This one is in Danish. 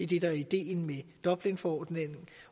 det der er ideen med dublinforordningen